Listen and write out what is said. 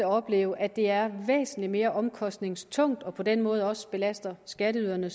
opleve at det er væsentlig mere omkostningstungt og på den måde også belaster skatteyderne